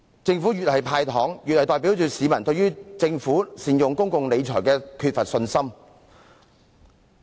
政府越是"派糖"，便越代表市民對政府的公共理財缺乏信心。